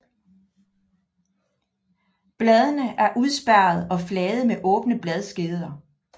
Bladene er udspærrede og flade med åbne bladskeder